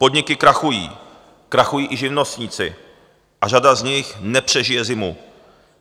Podniky krachují, krachují i živnostníci a řada z nich nepřežije zimu.